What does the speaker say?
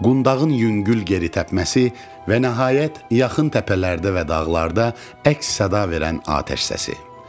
Qundağın yüngül geri təpməsi və nəhayət, yaxın təpələrdə və dağlarda əks-səda verən atəş səsi.